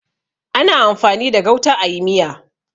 Ana amfani da gauta a yi miya.